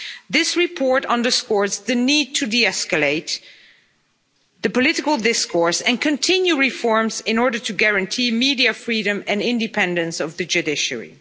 This report underscores the need to de escalate the political discourse and continue reforms in order to guarantee media freedom and independence of the judiciary.